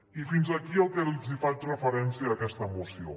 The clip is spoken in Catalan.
i fins aquí el que els faig referència d’aquesta moció